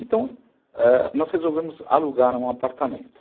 Então, ãh, nós resolvemos alugar um apartamento.